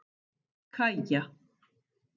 Kaja